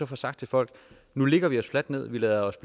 får sagt til folk nu lægger vi os fladt ned vi lader os